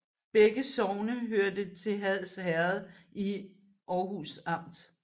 Begge sogne hørte til Hads Herred i Aarhus Amt